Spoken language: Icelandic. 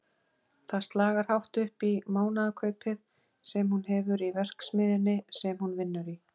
Það slagar hátt upp í mánaðarkaupið sem hún hefur í verksmiðjunni sem hún vinnur í.